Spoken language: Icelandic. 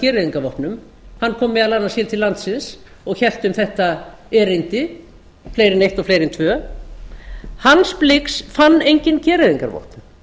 gereyðingarvopnum hann kom meðal annars hér til landsins og hélt um þetta erindi fleiri en eitt og fleiri en tvö hans blix fann engin gereyðingarvopn